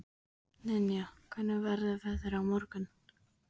Ninja, hvernig verður veðrið á morgun?